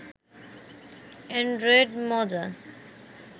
Android মজা